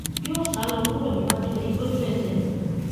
yóò sá lọ kúrò níwájú ẹ lójú ẹsẹ ni